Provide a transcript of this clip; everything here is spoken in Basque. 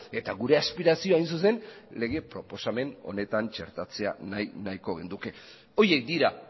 eta gure aspirazioa hain zuzen lege proposamen honetan txertatzea nahiko genuke horiek dira